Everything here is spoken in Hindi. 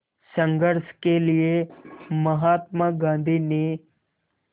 संघर्ष के लिए महात्मा गांधी ने